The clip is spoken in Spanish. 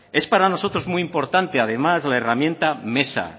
es para nosotros muy importante además la herramienta mesa